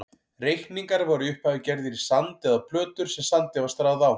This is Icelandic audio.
Reikningar voru í upphafi gerðir í sand eða á plötur sem sandi var stráð á.